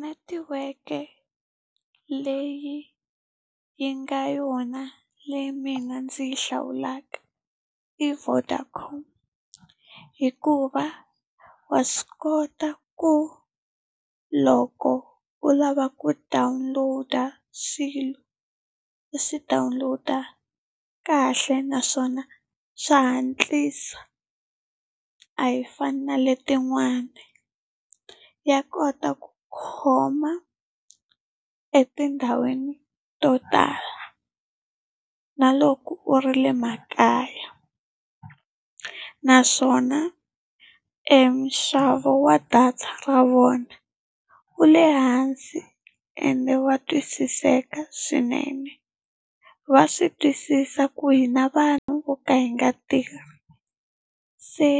Netiweke leyi yi nga yona leyi mina ndzi yi hlawulaka i Vodacom. Hikuva wa swi kota ku loko u lava ku download-a swilo, u swi download-a kahle naswona xa hatlisa a yi fani na le tin'wani. Ya kota ku khoma u etindhawini to tala, na loko u ri le makaya. Naswona e nxavo wa data ra vona, wu le hansi ende wa twisiseka swinene. Va swi twisisa ku hi na vanhu vo ka hi nga tirhi, se